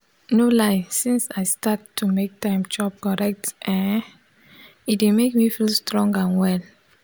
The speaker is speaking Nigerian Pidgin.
no lie since i start to make time chop correct eh e dey make me feel strong and well.